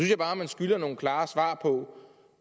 jeg bare at man skylder nogle klare svar på